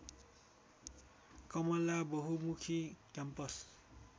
कमला बहुमुखी क्याम्पस